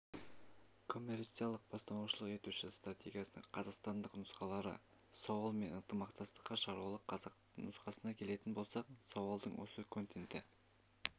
коммерциялық-бастамашылық етуші стратегияның қазақстандық нұсқалары сауал мен ынтымақтастыққа шақырудың қазақ нұсқасына келетін болсақ сауалдың осы контенті